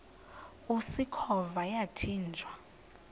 usikhova yathinjw a